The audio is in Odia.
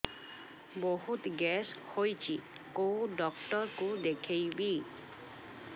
ବହୁତ ଗ୍ୟାସ ହଉଛି କୋଉ ଡକ୍ଟର କୁ ଦେଖେଇବି